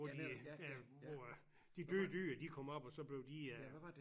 Hvor de der hvor at de døde dyr de kom op og så blev de øh